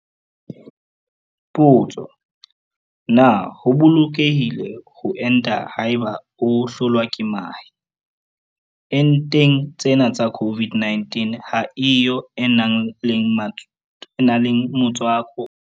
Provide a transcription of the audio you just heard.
Potso- Na ho bolokehile ho enta haeba o hlolwa ke mahe? Enteng tsena tsa COVID-19 ha e yo e nang le motswako wa mahe.